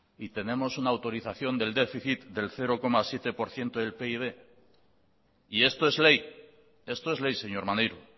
y tenemos una autorización del déficit del cero coma siete por ciento del pib y esto es ley esto es ley señor maneiro